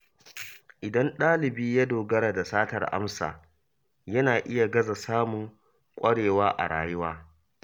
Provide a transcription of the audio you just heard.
Idan ɗalibi ya dogara da satar amsa, yana iya gaza samun kwarewa a rayuwa.